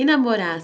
E namorar?